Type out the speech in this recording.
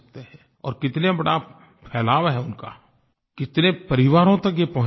और कितना बड़ा फैलाव है उनका कितने परिवारों तक ये पहुँचे हुए हैं